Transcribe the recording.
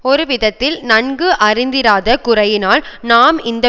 ஒரு விதத்தில் நன்கு அறிந்திராத குறையினால் நாம் இந்த